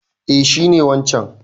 Eh shi ne wancan.